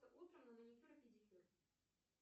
утром на маникюр и педикюр